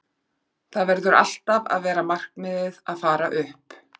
Það verður alltaf að vera markmiðið að fara upp.